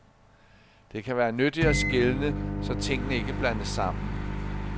Det kan være nyttigt at skelne, så tingene ikke blandes sammen.